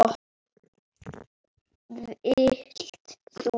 Vilt þú?